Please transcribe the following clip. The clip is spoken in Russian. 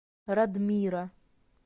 радмира